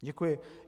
Děkuji.